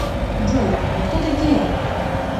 джой вы кто такие